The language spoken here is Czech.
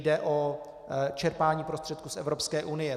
Jde o čerpání prostředků z Evropské unie.